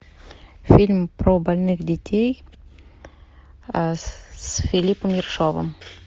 фильм про больных детей с филиппом ершовым